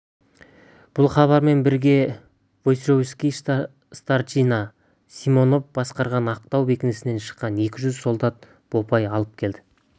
бұл хабармен бірге войсковой старшина симонов басқарған ақтау бекінісінен шыққан екі жүз солдат бопай алып келе